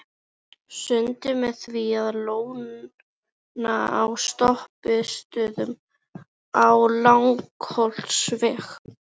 Sundið með því að lóna á stoppistöðvum við Langholtsveg.